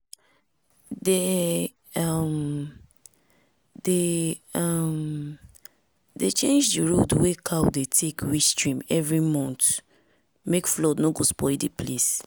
dem um dey dem um dey change di road wey cow dey tek reach stream every month make flood no go spoil di place.